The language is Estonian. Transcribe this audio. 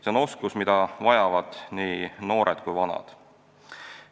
See on oskus, mida vajavad nii noored kui ka vanad.